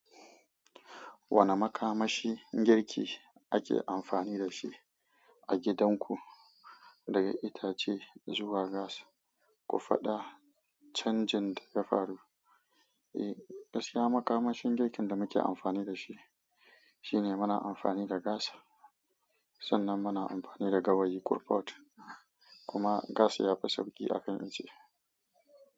Wane makamashi girki ake amfani da shi a gidanku, daga itace zuwa gas, ku faɗa canjin da ya faru? Eh, gaskiya makamashin girkin da muke amfani da shi, shine muna amfani da gas sannan muna amfani da gawayi coolpot, kuma gas ya fi sauƙi a kan icce.